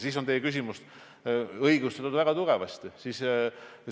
Siis on teie küsimus väga tugevasti õigustatud.